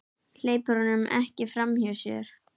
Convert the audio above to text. Hleypir honum ekki framhjá sér.